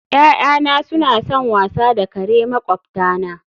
Ya'yana suna son wasa da kare makwabtana